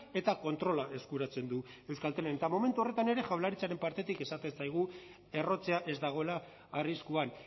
eta kontrola eskuratzen du euskaltelen eta momentu horretan ere jaurlaritzaren partetik esaten zaigu errotzea ez dagoela arriskuan